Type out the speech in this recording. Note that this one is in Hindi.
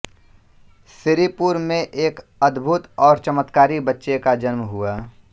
सिरीपुर में एक अद्भुत और चमत्कारी बच्चे का जन्म हुआ